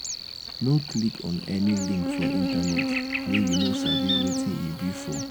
no click on any link for internet wey you no sabi wetin e be for.